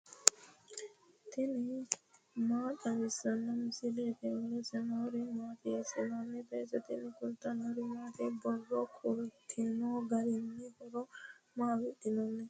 tini maa xawissanno misileeti ? mulese noori maati ? hiissinannite ise ? tini kultannori maati? Borro kulittu garinni horo maa afidhinno?